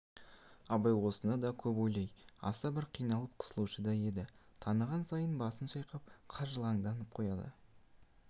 абай осыны да көп ойлап аса бір қиналып қысылушы еді таныған сайын басын шайқап қыжалданып қояды